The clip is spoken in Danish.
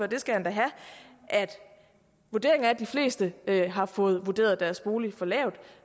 det skal han da have at vurderingen er at de fleste har fået vurderet deres bolig for lavt